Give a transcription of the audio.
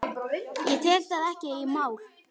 Ég tek það ekki í mál!